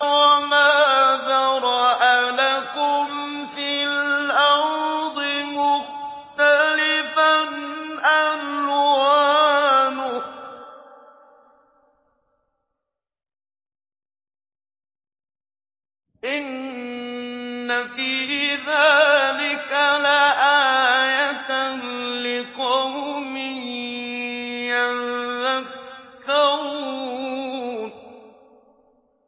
وَمَا ذَرَأَ لَكُمْ فِي الْأَرْضِ مُخْتَلِفًا أَلْوَانُهُ ۗ إِنَّ فِي ذَٰلِكَ لَآيَةً لِّقَوْمٍ يَذَّكَّرُونَ